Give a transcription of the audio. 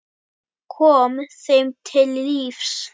Kom þeim til lífs.